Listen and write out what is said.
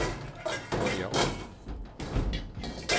börja om